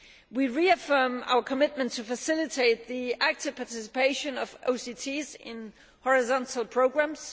We reaffirm our commitment to facilitate the active participation of OCTs in horizontal programmes.